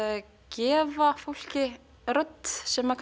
gefa fólki rödd sem